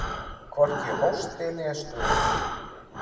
Hvorki hósti né stuna.